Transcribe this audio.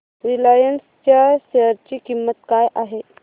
Reliance च्या share ची किंमत काय आहे